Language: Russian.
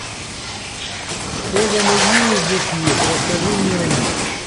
что за музеи здесь есть расскажи мне о них